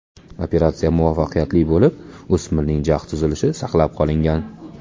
Operatsiya muvaffaqiyatli o‘tib, o‘smirning jag‘ tuzilishi saqlab qolingan.